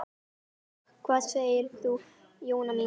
Hvað segir þú, Jóna mín?